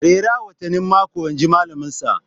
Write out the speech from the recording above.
Rera watannin mako inji malaminsa